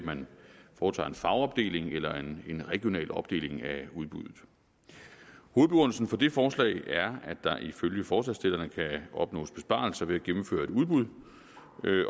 at man foretager en fagopdeling eller en regional opdeling af udbuddet hovedbegrundelsen for det forslag er at der ifølge forslagsstillerne kan opnås besparelser ved at gennemføre et udbud